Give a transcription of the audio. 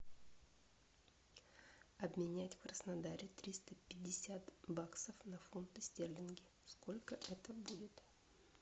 обменять в краснодаре триста пятьдесят баксов на фунты стерлингов сколько это будет